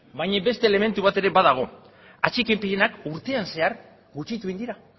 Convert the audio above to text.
baina beste elementu bat ere badago atxikipenak urtean zehar gutxitu egin dira